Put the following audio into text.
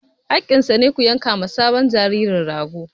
Haƙƙinsa ne, ku yanka ma sabon jaririn rago!